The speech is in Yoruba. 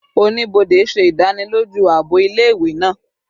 Onibode ṣe idaniloju aabo ile-iwe naa